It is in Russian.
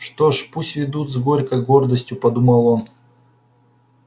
что ж пусть ведут с горькой гордостью подумал он